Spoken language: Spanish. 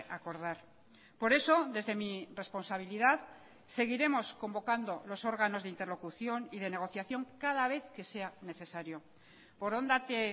acordar por eso desde mi responsabilidad seguiremos convocando los órganos de interlocución y de negociación cada vez que sea necesario borondate